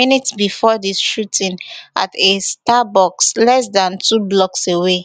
minutes bifor di shooting at a starbucks less dan two blocks away